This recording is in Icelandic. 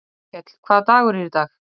Auðkell, hvaða dagur er í dag?